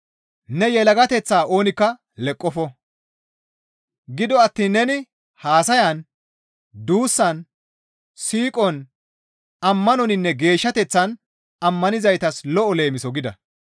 Ne yelagateththaa oonikka leqqofo; gido attiin neni haasayan, duussan, siiqon, ammanoninne geeshshateththan ammanizaytas lo7o leemiso gida.